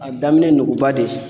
A daminɛ ye nuguba de ye